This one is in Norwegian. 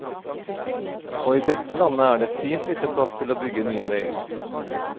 Og i dette landet er det fint lite plass til å bygge nye veier.